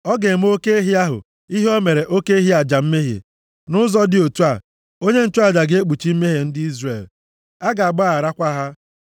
Ọ ga-eme oke ehi ahụ ihe o mere oke ehi aja mmehie. Nʼụzọ dị otu a, onye nchụaja ga-ekpuchi mmehie ndị Izrel. A ga-agbagharakwa ha.